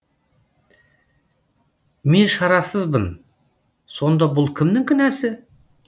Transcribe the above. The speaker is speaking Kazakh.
мен шарасызбын сонда бұл кімнің кінәсі